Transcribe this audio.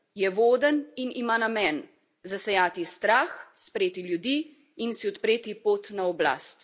Je voden in ima namen zasejati strah, spreti ljudi in si odpreti pot na oblast.